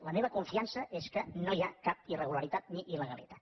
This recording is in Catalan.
la meva confiança és que no hi ha cap irregularitat ni illegalitat